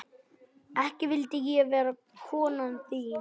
Ekki vildi ég vera konan þín.